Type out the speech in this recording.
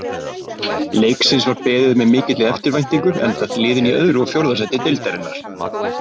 Leiksins var beðið með mikilli eftirvæntingu enda liðin í öðru og fjórða sæti deildarinnar.